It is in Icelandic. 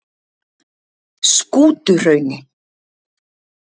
Skútuhrauni